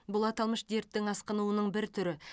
бұл аталмыш дерттің асқынуының бір түрі